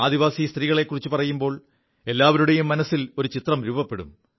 ആദിവാസി സ്ത്രീകളെക്കുറിച്ചു പറയുമ്പോൾ എല്ലാവരുടെയും മനസ്സിൽ ഒരു ചിത്രം രൂപപ്പെടും